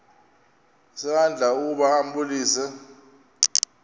isandla ukuba ambulise